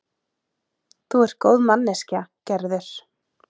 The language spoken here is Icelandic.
Þú ert góð manneskja, Gerður.